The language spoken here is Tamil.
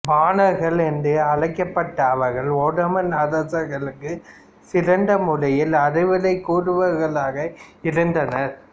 பானார்கள் என்று அழைக்கப்பட்ட அவர்கள் ஒட்டோமான் அரசர்களுக்குச் சிறந்த முறையில் அறிவுரை கூறுவோர்களாக இருந்தனர்